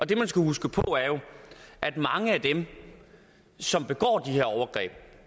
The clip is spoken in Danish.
det man skal huske på er at mange af dem som begår de her overgreb